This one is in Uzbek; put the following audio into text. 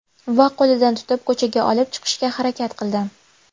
Va qo‘lidan tutib, ko‘chaga olib chiqishga harakat qildim.